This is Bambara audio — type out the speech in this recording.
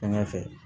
Fanga fɛ